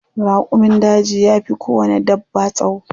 Raƙumin daji yafi kowanne dabba tsawo.